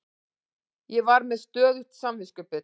Ég var með stöðugt samviskubit.